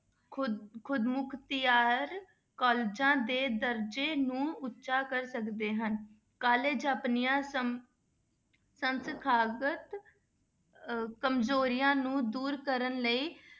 ਖੁੱਦ ਖੁੱਦ ਮੁਖਤਿਆਰ colleges ਦੇ ਦਰਜ਼ੇ ਨੂੰ ਉੱਚਾ ਕਰ ਸਕਦੇ ਹਨ college ਆਪਣੀਆਂ ਸੰਸ~ ਸੰਸਥਾਗਤ ਅਹ ਕੰਮਜ਼ੋਰੀਆਂ ਨੂੰ ਦੂਰ ਕਰਨ ਲਈ